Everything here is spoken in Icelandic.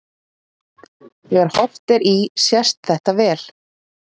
Þegar horft er í sést þetta vel.